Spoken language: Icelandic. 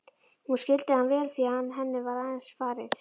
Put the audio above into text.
Hún skildi hann vel því henni var eins farið.